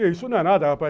Isso não é nada, rapaz.